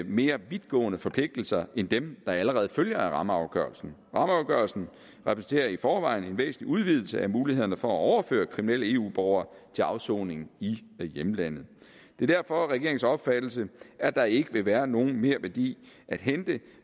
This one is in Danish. mere vidtgående forpligtelser end dem der allerede følger af rammeafgørelsen rammeafgørelsen repræsenterer i forvejen en væsentlig udvidelse af mulighederne for at overføre kriminelle eu borgere til afsoning i hjemlandet det er derfor regeringens opfattelse at der ikke vil være nogen merværdi at hente